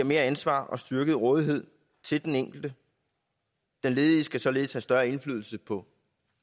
mere ansvar og styrket rådighed til den enkelte den ledige skal således have større indflydelse på